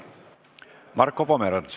Marko Pomerants.